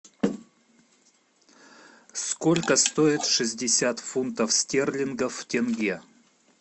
сколько стоит шестьдесят фунтов стерлингов в тенге